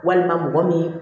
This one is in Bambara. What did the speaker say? Walima mɔgɔ min